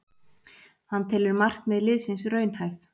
Hann telur markmið liðsins raunhæf